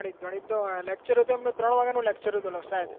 ગણિત નું lecture એમનું ત્રણ વાગ્યા નું હતું